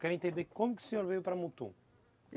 Eu quero entender como que o senhor veio para Mutum.